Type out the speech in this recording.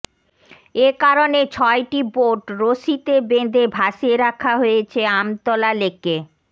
একারণে ছয়টি বোট রশিতে বেঁধে ভাসিয়ে রাখা হয়েছে আমতলা লেকে